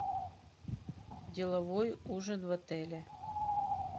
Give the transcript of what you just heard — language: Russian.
деловой ужин в отеле